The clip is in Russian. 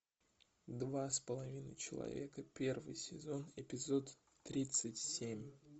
два с половиной человека первый сезон эпизод тридцать семь